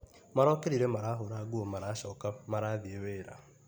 Marokĩrire marahũra nguo maracoka marathiĩ wĩra.